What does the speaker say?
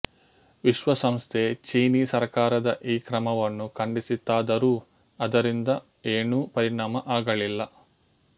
ವಿಶ್ವಸಂಸ್ಥೆ ಚೀನೀ ಸರ್ಕಾರದ ಈ ಕ್ರಮವನ್ನು ಖಂಡಿಸಿತಾದರೂ ಅದರಿಂದ ಏನೂ ಪರಿಣಾಮ ಆಗಲಿಲ್ಲ